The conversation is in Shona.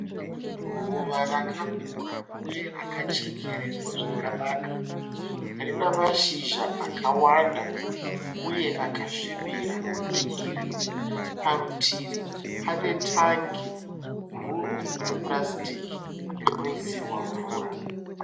Ruva rakakura uye rakachekererwa zvakanaka rine mashizha akawanda uye akasvibira egirini . Parutivi pane tangi guru repurasitiki rinoisirwa mvura.